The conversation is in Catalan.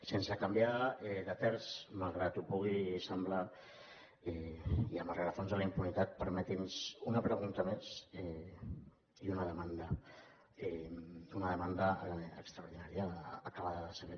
sense canviar de terç malgrat que ho pugui semblar i amb el rerefons de la impunitat permeti’ns una pregunta més i una demanda una demanda extraordinària acabada de saber